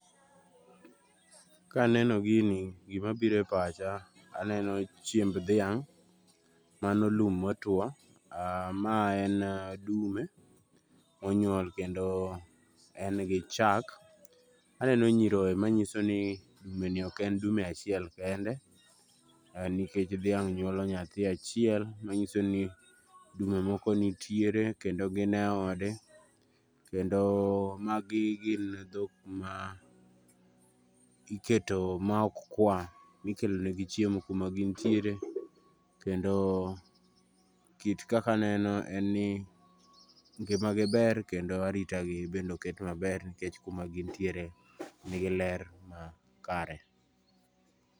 Kaneno gini gima biro e pacha aneno chiemb dhiang', mano lum motuo, ma en dume monyuol kendo en gi chak kendo en gi chak aneno nyiroye manyiso ni bende ok en dume achiel kende nikech dhiang' nyuolo nyathi achiel kende manyiso ni dume moko nitiere kendo gin eode kendo magi gin dhok ma iketo maok kwa ikelonegi chiemo kuma gintiere kendo kit kaka aneno en ni ngimagi ber kendo aritagi bende oket maber nikech kuma gin tiere nigi ler makare.